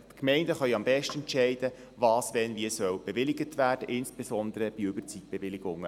Die Gemeinden können am besten entscheiden, was wann wie bewilligt werden soll, insbesondere bei Überzeitbewilligungen.